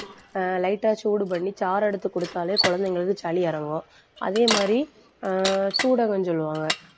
ஆஹ் light ஆ சூடு பண்ணி, சாறு எடுத்து குடுத்தாலே குழந்தைங்களுக்கு, சளி இறங்கும் அதே மாதிரி ஆஹ் சூடகம் சொல்லுவாங்க.